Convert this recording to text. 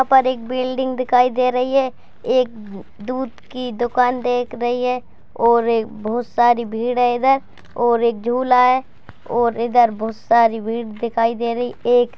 यहाँ पर एक बिल्डिंग दिखाई दे रही है | एक द दूध की दुकान देख रही है और एक बहुत सारी भीड़ है इधर और एक झूला है और इधर बहुत सारी भीड़ दिखाई दे रही एक --